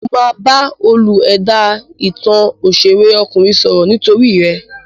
Mo máa bá olú-ẹ̀dá ìtàn òṣèré ọkùnrin sọ̀rọ̀ nítorí ẹ.